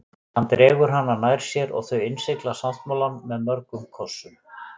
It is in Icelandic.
Hann dregur hana nær sér og þau innsigla sáttmálann með mörgum kossum.